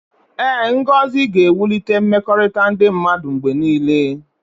Ee, ngọzi ga na-ewulite mmekọrịta ndị mmadụ mgbe niile.